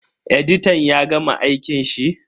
Editan ya gama aikin shi?